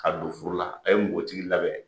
Ka don furu la ,a ye npogotigi labɛn